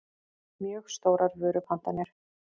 mjög stórar vörupantanir.